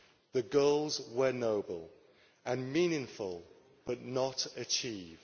The goals were noble and meaningful, but not achieved.